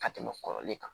Ka tɛmɛ kɔrɔlen kan